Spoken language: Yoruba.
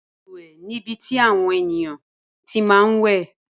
Balùwẹ̀ nibi tí àwọn ènìyàn ti máa ń wẹ̀.